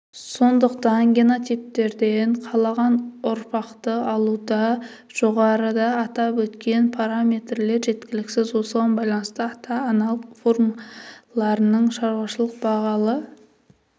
сондықтан генотиптерден қалаған ұрпақты алуда жоғарыда атап өткен параметрлер жеткіліксіз осыған байланысты ата-аналық формаларының шаруашылық бағалы